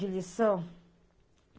De lição?